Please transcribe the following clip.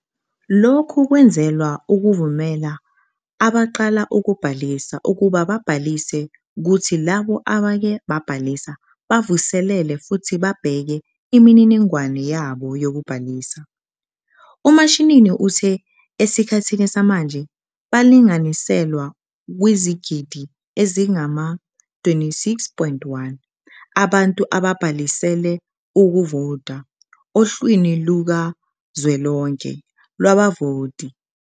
"Lokhu kwenzelwa ukuvumela abaqala ukubhalisa ukuba babhalise kuthi labo aseke babhalisa bavuselele futhi babheke imininingwane yabo yokubhalisa." UMashinini uthe esikhathini samanje balinganiselwa kwizigidi ezingama-26.1 abantu ababhalisele ukuvota ohlwini lukazwelonke lwabavoti.